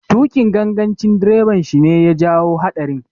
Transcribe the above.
Tuƙin gangancin direban shi ne ya jawo haɗarin.